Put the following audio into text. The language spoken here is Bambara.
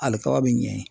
Ali kaba be ɲɛ in